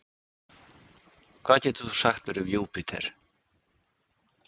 Hvað getur þú sagt mér um Júpíter?